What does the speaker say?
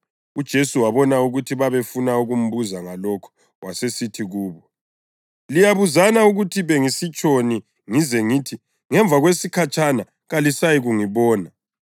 UJesu wabona ukuthi babefuna ukumbuza ngalokhu, wasesithi kubo, “Liyabuzana ukuthi bengisitshoni ngize ngithi, ‘Ngemva kwesikhatshana kalisayikungibona’?